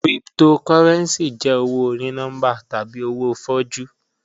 Cryptocurrency jẹ owo oní-nọmbà tabi owo fọ̀jú